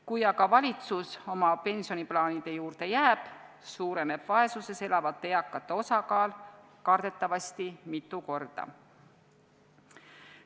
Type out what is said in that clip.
Kui aga valitsus oma pensioniplaanide juurde jääb, suureneb vaesuses elavate eakate osakaal kardetavasti mitu korda.